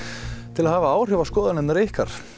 til að hafa áhrif á skoðanir ykkar